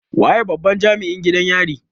Waye babban Jami'in gidan yarin?